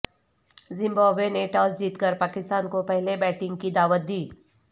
Zimbabwe نے toss جیت کر پاکستان کو پہےلے بیٹنگ کی دعوت دی